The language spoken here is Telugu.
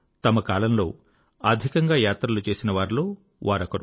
తమ కాలంలో అధికంగా యాత్రలు చేసేవారిలో వారొకరు